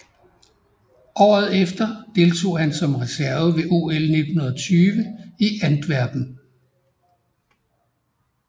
Året efter deltog han som reserve ved OL 1920 i Antwerpen